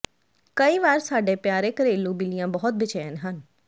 ਕਈ ਵਾਰ ਸਾਡੇ ਪਿਆਰੇ ਘਰੇਲੂ ਬਿੱਲੀਆਂ ਬਹੁਤ ਬੇਚੈਨ ਹਨ